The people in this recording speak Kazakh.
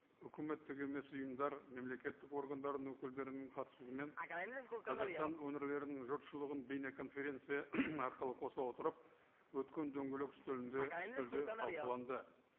үкіметтік емес ұйымдар мемлекеттік органдардың өкілдерінің қатысуымен қазақстан өңірлерінің жұртшылығын бейнеконференция арқылы қоса отырып өткен дөңгелек үстелінде үстелде талқыланды